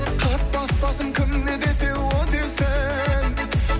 қатпас басым кім не десе о десін